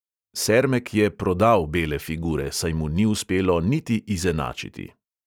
Sermek je "prodal" bele figure, saj mu ni uspelo niti izenačiti.